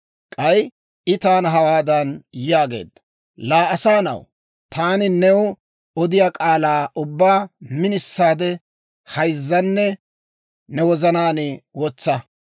K'ay I taana hawaadan yaageedda; «Laa asaa na'aw, taani new odiyaa k'aalaa ubbaa minisaade hayzzanne ne wozanaan wotsa.